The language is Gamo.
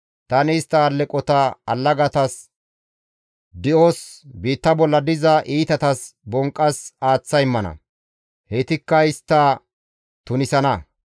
Tani istta alleqota allagatas di7os, biitta bolla diza iitatas bonqqas aaththa immana; heytikka istta tunisana.